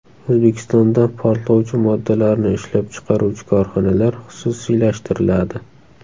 O‘zbekistonda portlovchi moddalarni ishlab chiqaruvchi korxonalar xususiylashtiriladi.